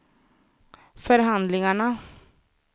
förhandlingarna